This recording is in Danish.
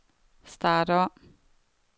start om